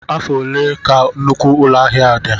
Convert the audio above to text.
Afọ ole ka nnukwu ụlọ ahịa a dị?